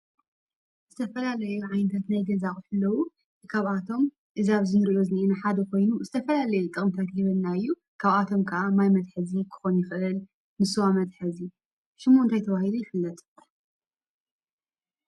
ዝተፈላለዩ ዓይነታት ናይ ገዛ ኣቁሑት ኣለው። ካብአቶም ኣብ እዚ ንሪኦ ዘለና ሓደ ዝትፈላለየ ጥቅሚ ይህበና እዩ:: ካብ ኣቶም ሐደ ማይ መትሓዝን ክኮን ይክእል:: ንስዋ መትሕዚ ሽሙ እንታይ ተበሂሉ ይፍለጥ?